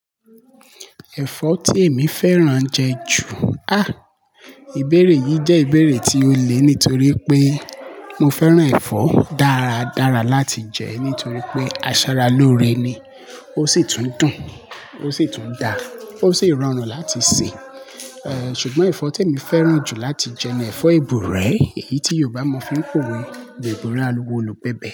Ẹ̀fọ́ tí èmi fẹ́ràn jẹ ju, á, ìbéèrè yìí jẹ́ ìbéèrè tí ó le nítorí pé mo fẹ́ràn ẹ̀fọ́ dára dára láti jẹ nítorí pé aṣaralóore ni. Ó sì tún dùn, ó sì tún da, ó sì rọrùn láti sè. Eh, ṣùgbọ́n ẹ̀fọ́ tí èmi fẹ́ràn jù láti jẹ ni ẹ̀fọ́ ìbùrẹ́, èyí tí Yorùbá mọ̀ fi ń pè pé ìbùrẹ́ aluwọ̀ olùgbẹbẹ̀